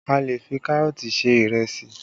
A lè fi Kárọ̀tì ṣe ìrẹsì